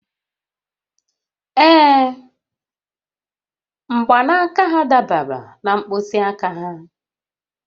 Ee, mgbanaka ha dabara na mkpịsị aka ha